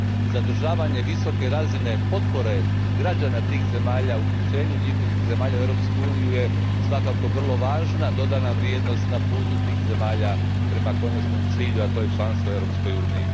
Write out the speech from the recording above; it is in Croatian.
Zadržavanje visoke razine potpore građana tih zemalja uključenju njihovih zemalja u Europsku uniju svakako je vrlo važna dodana vrijednost na putu tih zemalja prema konačnom cilju, a to je članstvo u Europskoj uniji.